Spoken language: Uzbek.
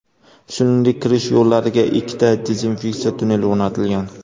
Shuningdek, kirish yo‘llariga ikkita dezinfeksiya tunneli o‘rnatilgan.